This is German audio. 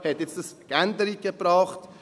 Hat das jetzt Änderungen gebracht?